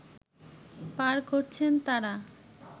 পার করছেন তারা